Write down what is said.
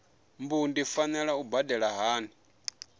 mbu ndi fanela u badela hani